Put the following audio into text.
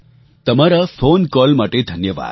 તમારા phone call માટે ધન્યવાદ